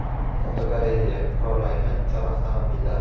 Fotogalereya: Qurollangan uchar avtomobillar.